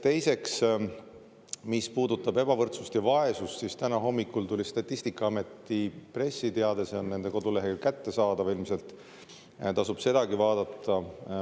Teiseks, mis puudutab ebavõrdsust ja vaesust, siis täna hommikul tuli Statistikaameti pressiteade, see on nende kodulehel kättesaadav ilmselt, tasub sedagi vaadata.